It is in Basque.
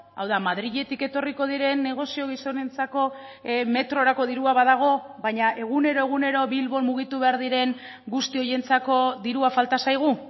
hau da madriletik etorriko diren negozio gizonentzako metrorako dirua badago baina egunero egunero bilbon mugitu behar diren guzti horientzako dirua falta zaigu